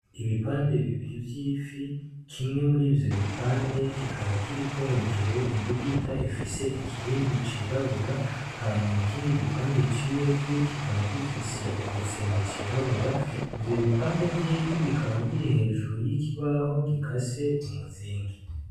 Ibipande bibiri vy’ifi , kimwe murivyo bipande Kikaba kiriko hejuru imbugita ifise ikirindi cirabura Hanyuma ikindi gipande c’iyo fi kikaba gifise igitsembe cirabura, ivyo bipande vy’ifi bikaba biri hejuru y’ikibaho gikase umuzingi.